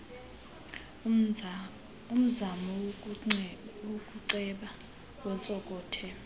umzamo wokuceba ontsonkothe